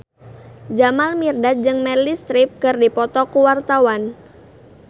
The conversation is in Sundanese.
Jamal Mirdad jeung Meryl Streep keur dipoto ku wartawan